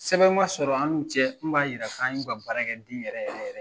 Sɛbɛn man sɔrɔ an n'u cɛ min b'a jira k'an y'u ka baarakɛden yɛrɛ yɛrɛ yɛrɛ.